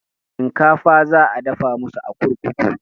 Shinkafa za a dafa masu a kurkuku